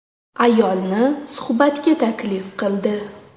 Ayolni suhbatga taklif qildi.